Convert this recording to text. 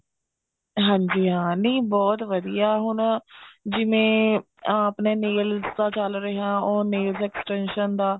ਹਾਂਜੀ ਹਾਂ ਨਹੀਂ ਬਹੁਤ ਵਧੀਆ ਹੁਣ ਜਿਵੇਂ ਆਪਣੇ nails ਦਾ ਚਲ ਰਿਹਾ or nail extension ਦਾ